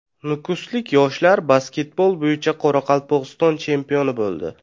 Nukuslik yoshlar basketbol bo‘yicha Qoraqalpog‘iston chempioni bo‘ldi.